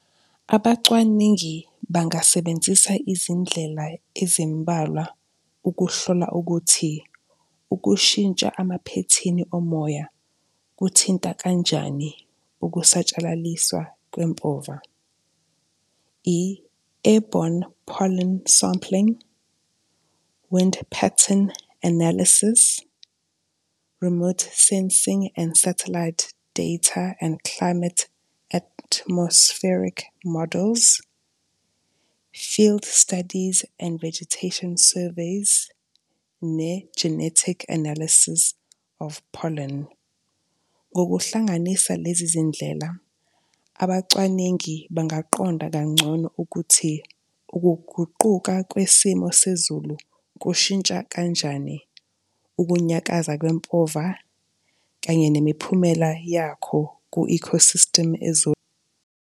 Abacwaningi bangasebenzisa izindlela ezimbalwa ukuhlola ukuthi ukushintsha emaphethini omoya kuthinta kanjani ukusatshalaliswa kwempova, i-airbourne pollen sampling, wind pattern analysis, remote sensing and satellite data and climate atmospheric models, field studies and vegetation surveys ne-genetic analysis of pollen. Ngokuhlanganisa lezi zindlela, abacwaningi bangaqonda kangcono ukuthi ukuguquka kwesimo sezulu kushintsha kanjani ukunyakaza kwempova kanye nemiphumela yakho ku-ecosystem